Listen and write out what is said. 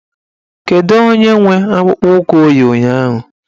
Kedụ onye nwe akpụkpọụkwụ o yi ụnyaahụ?